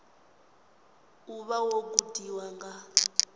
u vha wo gudiwa nga